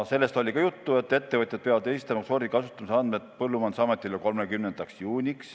Juttu oli ka sellest, et ettevõtjad peavad esitama sordi kasutamise andmed Põllumajandusametile 30. juuniks.